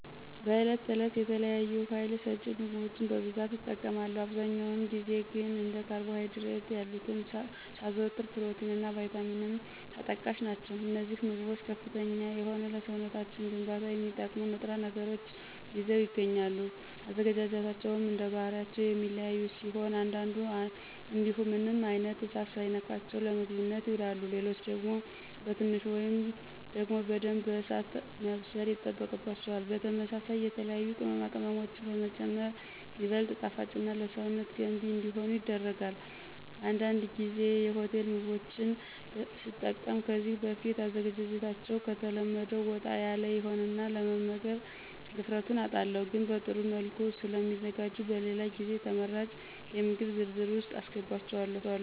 በዕለት ተዕለት የተለያዩ ሀይል ሰጭ ምግቦችን በብዛት እጠቀማለሁ። አብዛኛውን ጊዜ ግን እንደ ካርቦ ሀይድሬት ያሉትን ሳዘወትር ፕሮቲን እና ቫይታሚንም ተጠቃሽ ናቸው። አነዚህ ምግቦች ከፍተኛ የሆነ ለሰውነት ግንባታ የሚጠቅሙ ንጥረ ነገሮችን ይዘው ይገኛሉ። አዘገጃጀታቸውም እንደባህሪያቸው የሚለያዩ ሲሆን አንዳንዱ እንዲሁ ምንም አይነት እሳት ሳይነካቸው ለምግብነት ይውላሉ። ሌሎች ደግሞ በትንሹ ወይም ደግሞ በደንብ በእሳት መብሰል ይጠበቅባቸዋል። በተመሳሳይ የተለያዩ ቅመማ ቅመሞችንም በመጨመር ይበልጥ ጣፋጭና ለሰውነት ገንቢ እንዲሆኑ ይደረጋል። አንዳንድ ጊዜ የሆቴል ምግቦች ስጠቀም ከዚህ በፊት አዘገጃጀታቸዉ ከተለመደው ወጣ ያለ ይሆንና ለመምገብ ድፍረቱን አጣለሁ። ግን በጥሩ መልኩ ስለሚዘጋጁ በሌላ ጊዜ ተመራጭ የምግብ ዝርዝር ውስጥ አሰገባቸዋለሁ።